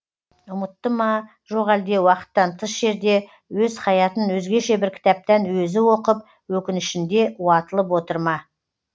ұмытты ма жоқ әлде уақыттан тыс жерде өз хаятын өзгеше бір кітаптан өзі оқып өкінішінде уатылып отыр ма